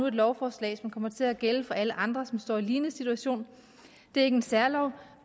et lovforslag som kommer til at gælde for alle andre som står i en lignende situation det er ikke en særlov